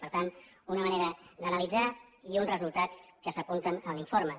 per tant una manera d’analitzar i uns resultats que s’apunten en l’informe